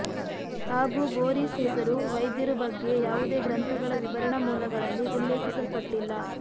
ಹಾಗೂ ಬೋರಿಸ್ ಹೆಸರು ವೈದ್ಯರು ಬಗ್ಗೆ ಯಾವುದೇ ಗ್ರಂಥಗಳ ವಿವರಣಾ ಮೂಲಗಳಲ್ಲಿ ಉಲ್ಲೇಖಿಸಲ್ಪಟ್ಟಿಲ್ಲ